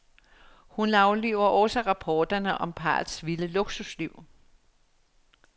Hun afliver også rapporterne om parrets vilde luksusliv.